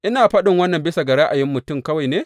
Ina faɗin wannan bisa ga ra’ayin mutum kawai ne?